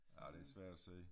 Ja det svært at se